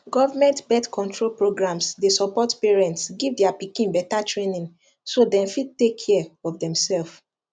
government birthcontrol programs dey support parents give their pikin better trainingso dem fit take care of demself